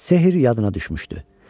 Sehir yadına düşmüşdü.